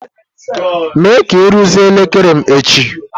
Mee ka ị rụzie elekere m echi!